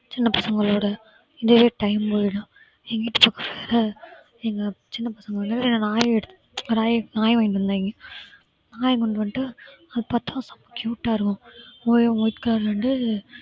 சின்ன பசங்களோட இதுவே time போயிடும். எங்க வீட்டு பக்கத்துல எங்க சின்ன பசங்க ஒன்னு நாய் எடு~ நாய் வாங்கிட்டு வந்தாங்க. நாயை கொண்டு வந்துட்டு அதை பார்த்தா செம cute ஆ இருக்கும். white colour ரெண்டு